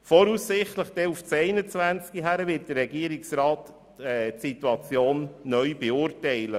Der Regierungsrat wird die Situation voraussichtlich auf das Jahr 2021 neu beurteilen.